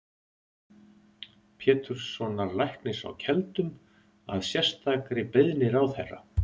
Péturssonar læknis á Keldum, að sérstakri beiðni ráðherra.